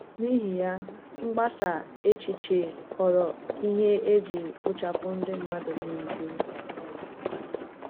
N’ihi ya, mgbasa èchìchè ghọrọ ihe e ji kpochapụ ndị mmadụ n’ìgwè.